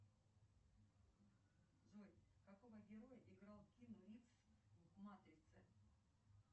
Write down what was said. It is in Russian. афина фильм про киану ривза и собаку